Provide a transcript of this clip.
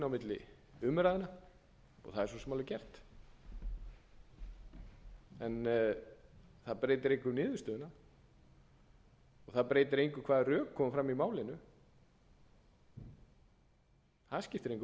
milli umræðna og það er svo sem alveg hægt en það breytir engu um niðurstöðuna það breytir engu um hvaða rök koma fram í málinu það skiptir engu